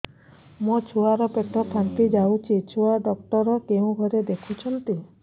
ମୋ ଛୁଆ ର ପେଟ ଫାମ୍ପି ଯାଉଛି ଛୁଆ ଡକ୍ଟର କେଉଁ ଘରେ ଦେଖୁ ଛନ୍ତି